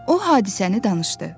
O hadisəni danışdı.